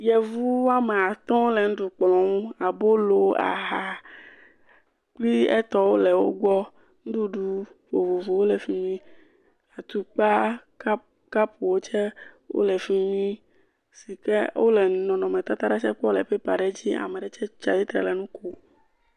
Yevu wɔme atɔ̃ wole nuɖukplɔ nu. Abolo, aha kple etɔwo le wogbɔ. Nuɖuɖu vovovowo le fi mi, atukpa, kap, kapuwo tse wo le fi mi si ke wole nɔnɔmetata ɖe tse kpɔm le pɛpa aɖe dzi. Ame aɖe tse tsi atstre le nu kom.